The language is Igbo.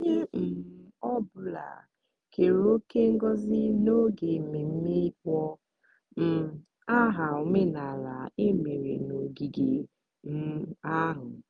onye um ọ bụla keere òkè ngozi n'oge mmemme ịkpọ um aha omenala emere n'ogige um ahụ.